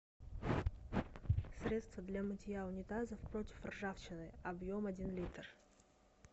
средство для мытья унитазов против ржавчины объем один литр